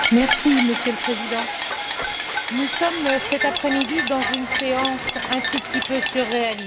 Monsieur le Président, nous sommes cet après midi dans une séance un tout petit peu surréaliste.